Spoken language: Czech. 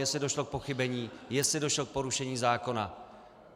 Jestli došlo k pochybení, jestli došlo k porušení zákona.